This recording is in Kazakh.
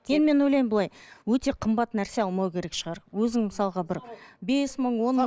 енді мен ойлаймын былай өте қымбат нәрсе алмау керек шығар өзің мысалға бір бес мың